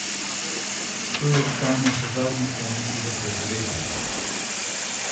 To je iskanje še zadnjih možnosti za preživetje!